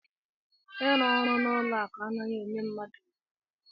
Ịrụ ọrụ n'ụlọ akụ anaghị enye mmadụ ohere.